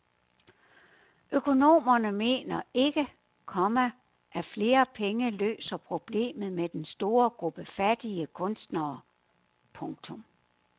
Økonomerne mener ikke, komma at flere penge løser problemet med den store gruppe fattige kunstnere. punktum